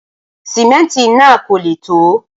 simẹnti nà kò lẹ to